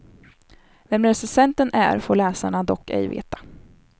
Vem recensenten är, får läsarna dock ej veta.